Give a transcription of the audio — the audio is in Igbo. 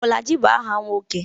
Bolaji bụ aha nwoke